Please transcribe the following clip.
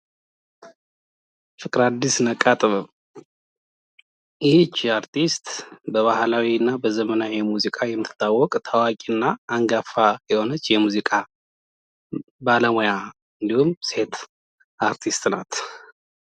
ፍቅራ አዲስ ነቃ ጥበብ ይቺ እርቲስት በዘመናዊና ባህላዊ ሙዚቃ የምትታወቀው ታዋቂና አንጋፋ የሆነች የሙዚቃ ባለሙያ እና ሴት አርቲስት ናት።